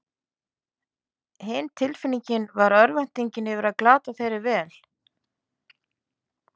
Hin tilfinningin var örvæntingin yfir að glata þeirri vel